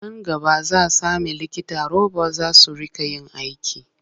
Nan gaba za sami likita robot za su riƙa yin aiki.